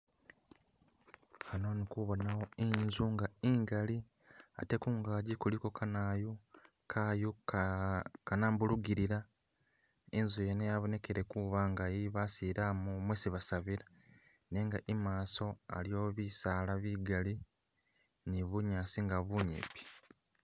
hano indikubonawo inzu ingali atekungaji kuliko kanayu kayu kanambulugilila inzu yene yabonekele kuba nga yebasilamu mwesi basabila nenga imaso aliwo bisaala bigali nibunyasi bunyipi